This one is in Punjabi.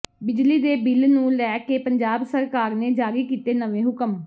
ਬਿਜਲੀ ਦੇ ਬਿੱਲ ਨੂੰ ਲੈ ਕੇ ਪੰਜਾਬ ਸਰਕਾਰ ਨੇ ਜਾਰੀ ਕੀਤੇ ਨਵੇਂ ਹੁਕਮ